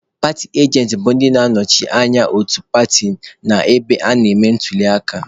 Paatị ajentị bụ ndị na-anọchite anya otu paatị n'ebe a na-eme ntuliaka.